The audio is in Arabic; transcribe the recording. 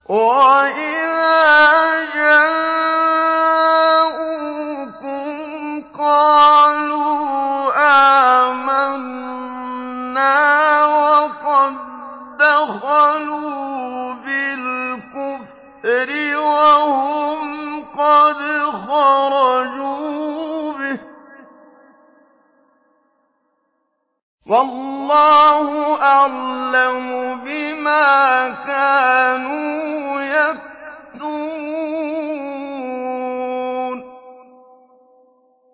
وَإِذَا جَاءُوكُمْ قَالُوا آمَنَّا وَقَد دَّخَلُوا بِالْكُفْرِ وَهُمْ قَدْ خَرَجُوا بِهِ ۚ وَاللَّهُ أَعْلَمُ بِمَا كَانُوا يَكْتُمُونَ